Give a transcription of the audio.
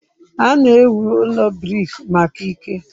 A na-ewu ụlọ brik maka ike.